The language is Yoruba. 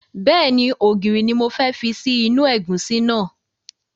Bẹ́ẹ̀ni, ògìrì ni mo fẹ́ fi sí inú ẹ̀gúsí náà